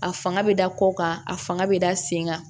A fanga bɛ da kɔ kan a fanga bɛ da sen kan